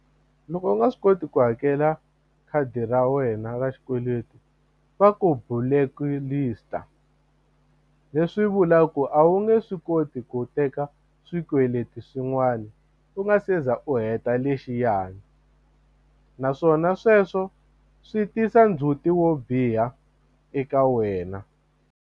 Loko u nga swi koti ku hakela khadi ra wena ra xikweleti va ku blacklist-a leswi vulaka ku a wu nge swi koti ku teka swikweleti swin'wana u nga se za u heta lexiyani naswona sweswo swi tisa ndzhuti wo biha eka wena.